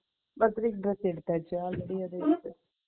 birthday க்கு dress எடுத்தாச்சா